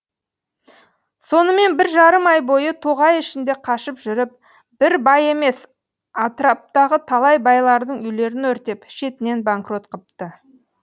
сонымен бір жарым ай бойы тоғай ішінде қашып жүріп бір бай емес атыраптағы талай байлардың үйлерін өртеп шетінен банкрот қыпты